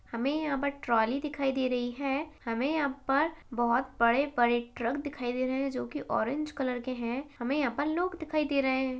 हमें यहां पर ट्राली दिखाई दे रही है | हमें यहाँ पर बहोत बड़े-बड़े ट्रक दिखाई दे रहे हैं जो कि ऑरेंज कलर के हैं | हमें यहाँ पर लोग दिखाई दे रहे हैं ।